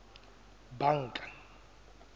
banka